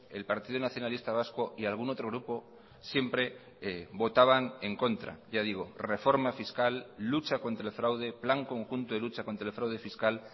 el partido nacionalista vasco y algún otro grupo siempre votaban en contra ya digo reforma fiscal lucha contra el fraude plan conjunto de lucha contra el fraude fiscal